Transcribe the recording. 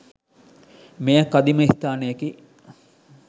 මෙය කදිම ස්ථානයකි.